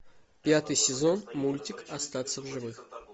пятый сезон мультик остаться в живых